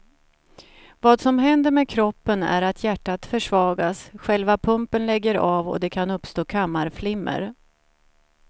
Vad som händer med kroppen är att hjärtat försvagas, själva pumpen lägger av och det kan uppstå kammarflimmer.